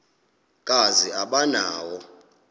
kazi aba nawo